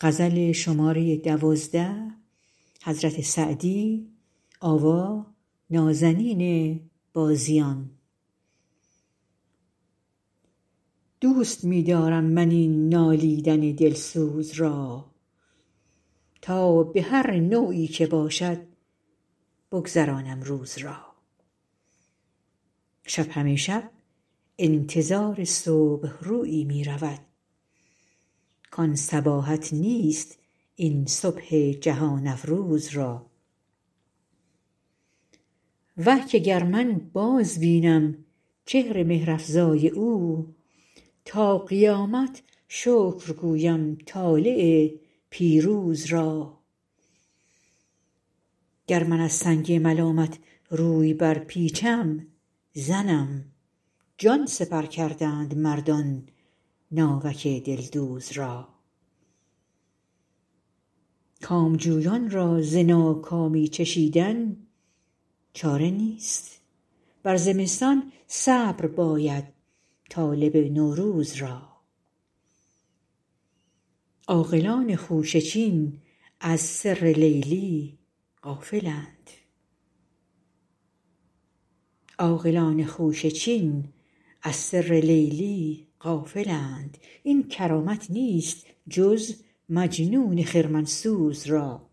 دوست می دارم من این نالیدن دلسوز را تا به هر نوعی که باشد بگذرانم روز را شب همه شب انتظار صبح رویی می رود کان صباحت نیست این صبح جهان افروز را وه که گر من بازبینم چهر مهرافزای او تا قیامت شکر گویم طالع پیروز را گر من از سنگ ملامت روی برپیچم زنم جان سپر کردند مردان ناوک دلدوز را کامجویان را ز ناکامی چشیدن چاره نیست بر زمستان صبر باید طالب نوروز را عاقلان خوشه چین از سر لیلی غافلند این کرامت نیست جز مجنون خرمن سوز را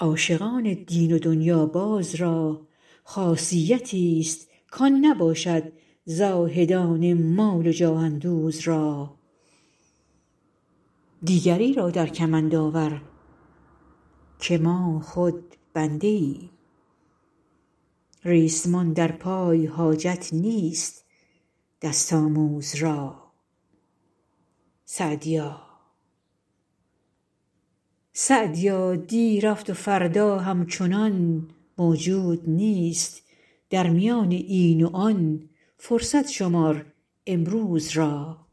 عاشقان دین و دنیاباز را خاصیتیست کان نباشد زاهدان مال و جاه اندوز را دیگری را در کمند آور که ما خود بنده ایم ریسمان در پای حاجت نیست دست آموز را سعدیا دی رفت و فردا همچنان موجود نیست در میان این و آن فرصت شمار امروز را